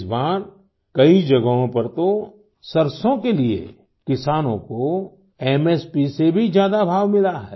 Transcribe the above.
इस बार कई जगहों पर तो सरसों के लिए किसानों को एमएसपी से भी ज्यादा भाव मिला है